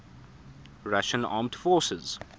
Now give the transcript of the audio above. russian armed forces